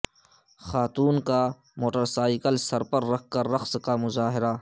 خاتون کا موٹرسائیکل سر پر رکھ کر رقص کا مظاہرہ